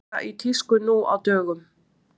að flokka rusl er óneitanlega í tísku nú á dögum